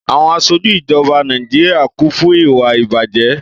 Àwon asojú ijọba Nàíjíríà kún fún ìwà-ìbàjẹ́.